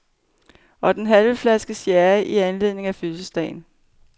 Og den halv flaske sherry i anledning af fødselsdagen.